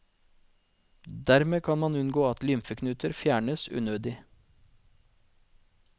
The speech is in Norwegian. Dermed kan man unngå at lymfeknuter fjernes unødig.